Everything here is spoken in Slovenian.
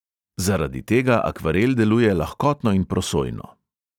Zaradi tega akvarel deluje lahkotno in prosojno.